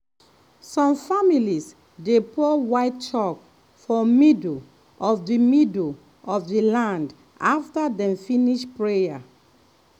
some families dey pour white chalk for middle of the middle of the land after dem finish prayer.